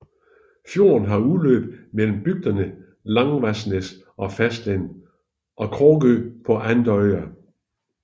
Fjorden har indløb mellem bygderne Lavangsnes på fastlandet og Kråkrø på Andørja